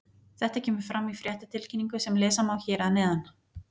Þetta kemur fram í fréttatilkynningu sem lesa má hér að neðan.